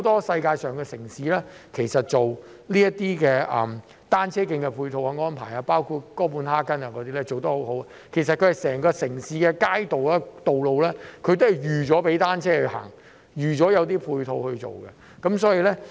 世界上很多城市也有單車徑的配套安排，哥本哈根便做得很好，整個城市的街道和道路也預先設計供單車行走，所有的配套都預計在內。